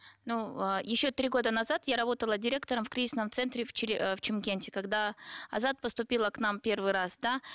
мынау ы еще три года назад я работала директором в кризисном центре в в чимкенте когда азат поступила к нам в первый раз да